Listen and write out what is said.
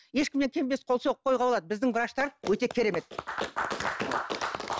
ешкімнен кем емес қол соғып қоюға болады біздің врачтар өте керемет